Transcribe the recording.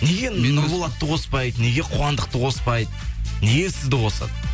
неге нұрболатты қоспайды неге қуандықты қоспайды неге сізді қосады